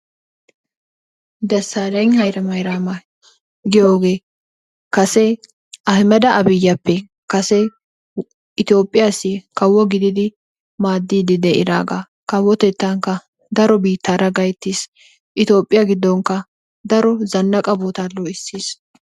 Dassaalegna Haylemaaraama giyogee kase Ahiimeda Aabiyyappe kase Itoophphiyassi kawo gididi maaddiidsi de'iraagaa. Kawotettaakka daro biittaara gayttiis. Itoophphiya giddonkka daro zannaqa sohota doo'ssiis.